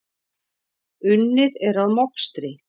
Unnið er að mokstri.